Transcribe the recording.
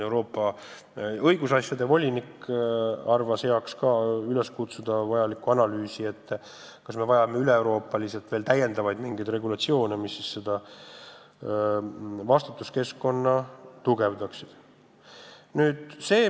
Euroopa õigusasjade volinik arvas heaks kutsuda üles tegema analüüsi, kas me vajame täiendavaid üleeuroopalisi regulatsioone, mis seda vastutuskeskkonda tugevdaksid.